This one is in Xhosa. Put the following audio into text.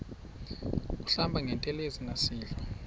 kuhlamba ngantelezi nasidlo